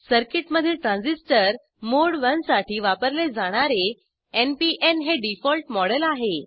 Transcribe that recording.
सर्किटमधील transistor mode one साठी वापरले जाणारे एनपीएन हे डिफॉल्ट मॉडेल आहे